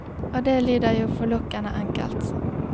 Og det lyder jo forlokkende enkelt.